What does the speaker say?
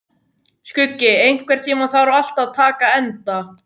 Skuggi, einhvern tímann þarf allt að taka enda.